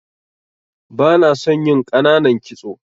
Bana son yin ƙananan kitso.